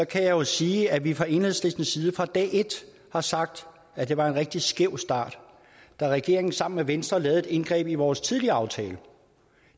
kan jeg sige at vi fra enhedslistens side fra dag et har sagt at det var en rigtig skæv start da regeringen sammen med venstre lavede et indgreb i vores tidligere aftale